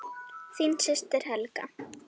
Þín systir, Helga.